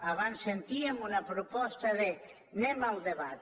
abans sentíem una proposta d’ anem al debat